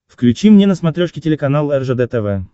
включи мне на смотрешке телеканал ржд тв